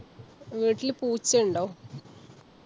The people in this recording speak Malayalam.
വീട്ടില് പൂച്ചയുണ്ടോ?